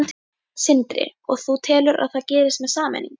Sindri: Og þú telur að það gerist með sameiningu?